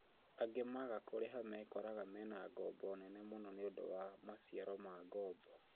Angĩ maaga kũrĩha mekoraga mena ngoombo nene mũno nĩũndũ wa maciaro ma ngoombo